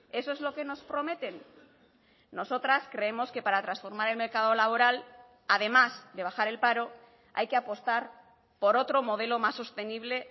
eso es lo que nos prometen nosotras creemos que para transformar el mercado laboral además de bajar el paro hay que apostar por otro modelo más sostenible